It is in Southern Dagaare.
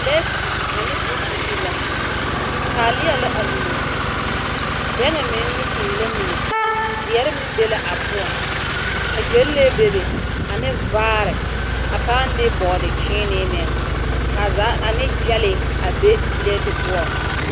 Pileti ane bondirii la. Taalea la amine, bɛŋɛ meŋ ne mui la amine zeŋre meŋbe la a poɔŋ, ka gyenlee bebe ane vaare, a pãã de bɔɔdekyẽẽnee meŋ, ka a zaa, ane gyɛlee a be pileti poɔŋ.